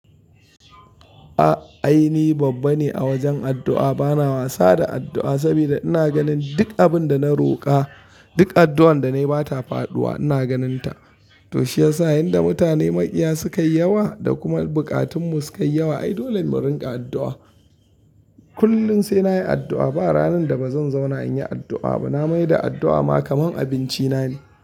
A'a ai ni babba ne a wajen addu'a, bana wasa da addu'a saboda ina ganin duk abin da na roƙa, duk addu'an da nayi ba ta faɗuwa ina ganinta. Toshe yasa inda mutane makiya sukayi yawa da kuma bukatunmu sukayi yawa, ai dole mu rinƙa addu'a. Kullum sai nayi addu'a ba ranar da bazan zauna inyi addu'a ba. Na mai da addu'a ma kamar abinci na ne.